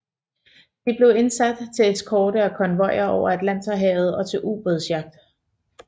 De blev indsat til eskorte af konvojer over Atlanterhavet og til ubådsjagt